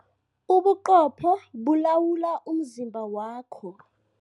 Ubuqopho bulawula umzimba wakho.